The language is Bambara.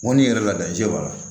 Mɔnni yɛrɛ la je b'a la